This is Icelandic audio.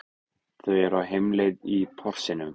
Þau eru á heimleið í Porsinum.